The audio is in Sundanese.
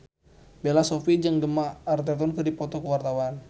Bella Shofie jeung Gemma Arterton keur dipoto ku wartawan